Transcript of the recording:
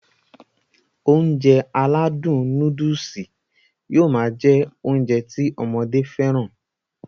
Ounjẹ aládùn nóódùsì yóó ṣi máá jẹ́ Ounjẹ ti ọmọdé fẹ́ràn